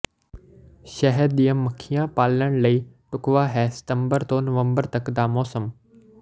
ਸ਼ਹਿਦ ਦੀਆਂ ਮੱਖੀਆਂ ਪਾਲਣ ਲਈ ਢੁਕਵਾਂ ਹੈ ਸਤੰਬਰ ਤੋਂ ਨਵੰਬਰ ਤੱਕ ਦਾ ਮੌਸਮ